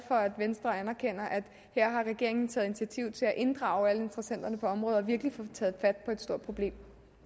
for at venstre anerkender at her har regeringen taget initiativ til at inddrage alle interessenterne på området og virkelig få taget fat på et stort problem